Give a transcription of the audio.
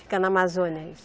Fica na Amazônia isso?